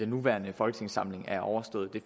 nuværende folketingssamling er overstået det